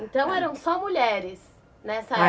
Então eram só mulheres nessa